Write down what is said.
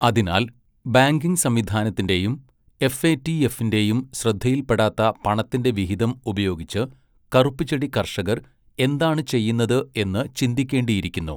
അതിനാൽ, ബാങ്കിംഗ് സംവിധാനത്തിന്റെയും എഫ്എടിഎഫിന്റെയും ശ്രദ്ധയിൽപ്പെടാത്ത പണത്തിന്റെ വിഹിതം ഉപയോഗിച്ച് കറുപ്പുചെടി കർഷകർ എന്താണ് ചെയ്യുന്നത് എന്ന് ചിന്തിക്കേണ്ടിയിരിക്കുന്നു.